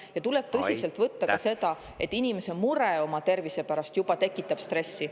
… ja tuleb tõsiselt võtta ka seda, et inimese mure oma tervise pärast tekitab stressi.